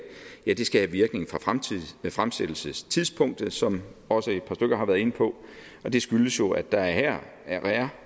skal have virkning fra fremsættelsestidspunktet som også et par stykker har været inde på og det skyldes jo at der her